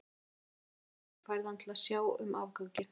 Þú heimsækir bróður þinn og færð hann til að sjá um afganginn.